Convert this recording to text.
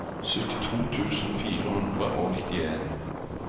syttito tusen fire hundre og nittien